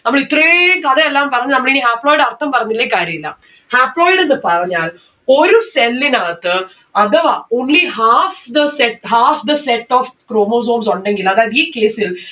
നമ്മൾ ഇത്രേം കഥ എല്ലാം പറഞ്ഞു നമ്മളിനി haploid ടെ അർഥം പറഞ്ഞില്ലേൽ കാര്യില്ല. haploid എന്ന് പറഞ്ഞാൽ ഒരു cell ഇനകത്ത് അഥവാ only half the set half the set of chromosomes ഉണ്ടെങ്കിൽ അതായത് ഈ case ൽ